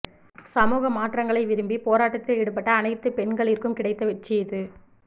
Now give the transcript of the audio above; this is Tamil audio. சமூக மாற்றங்களை விரும்பி போராட்டத்தில் ஈடுபட்ட அனைத்துப் பெண்களிற்கும் கிடைத்த வெற்றி இது